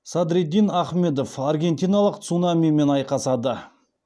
садриддин ахмедов аргентиналық цунамимен айқасады